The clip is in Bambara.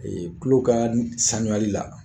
tulo ka li sanuyali la